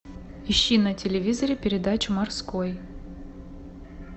ищи на телевизоре передачу морской